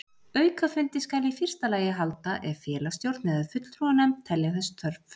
Aukafundi skal í fyrsta lagi halda ef félagsstjórn eða fulltrúanefnd telja þess þörf.